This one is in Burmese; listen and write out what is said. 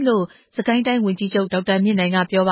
လို့ စစ်ကိုင်းတိုင်းဝန်ကြီးချုပ် ဒေါက်တာမြင့်နိုင်က ပြောပ